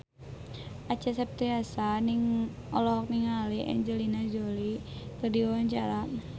Acha Septriasa olohok ningali Angelina Jolie keur diwawancara